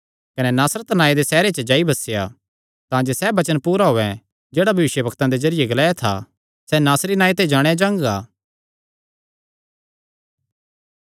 कने नासरत नांऐ दे सैहरे च जाई बसेया तांजे सैह़ वचन पूरा होयैं जेह्ड़ा भविष्यवक्तां दे जरिये ग्लाया था सैह़ नासरी नांऐ ते जाणेयां जांगा